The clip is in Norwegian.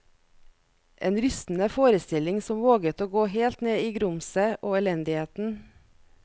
En rystende forestilling som våget å gå helt ned i grumset og elendigheten.